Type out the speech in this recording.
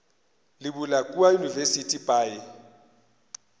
le bula kua university by